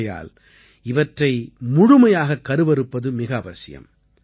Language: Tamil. ஆகையால் இவற்றை முழுமையாக கருவறுப்பது மிக அவசியம்